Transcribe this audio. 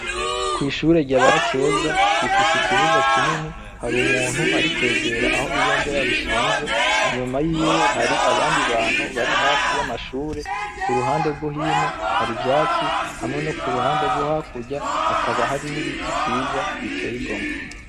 Kw'ishure ryaba Keza rifise ikibuga kinini hari umuntu ari kwegera aho ibendera rishinze, inyuma yiwe hari abandi bantu bari hafi y'amashure, ku ruhande rwo hino hari ivyatsi hamwe no kuruhande rwo hakurya hakaba hari n'ibiti vyiza biteye igomwe.